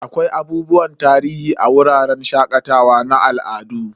Akwai abubuwan tarihi a wuraren shakatawa na al'adu.